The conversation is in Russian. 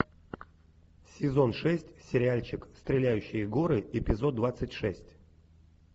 сезон шесть сериальчик стреляющие горы эпизод двадцать шесть